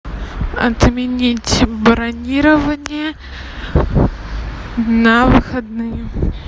отменить бронирование на выходные